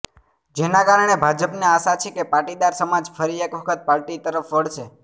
જેના કારણે ભાજપને આશા છે કે પાટીદાર સમાજ ફરી એક વખત પાર્ટી તરફ વળશે